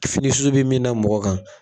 Fini susu bi min da mɔgɔ kan